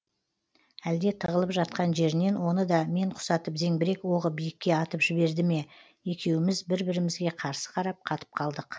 әлде тығылып жатқан жерінен оны да мен құсатып зеңбірек оғы биікке атып жіберді ме екеуіміз бір бірімізге қарсы қарап қатып қалдық